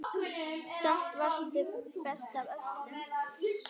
Samt varstu best af öllum.